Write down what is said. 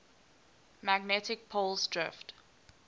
magnetic poles drift